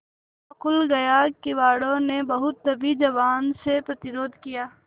ताला खुल गया किवाड़ो ने बहुत दबी जबान से प्रतिरोध किया